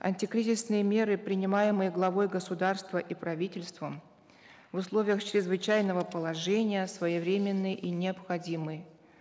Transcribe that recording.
антикризисные меры принимаемые главой государства и правительством в условиях чрезвычайного положения своевременны и необходимы